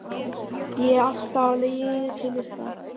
Ég er alltaf á leiðinni til ykkar.